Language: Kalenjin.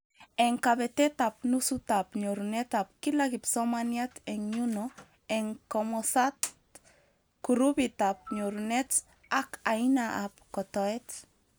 Eng kabetetab nusutab nyorunetab kila kipsomaniat eng nyuno eng komosat, kurupitab nyorunet, ak aina ab kotoet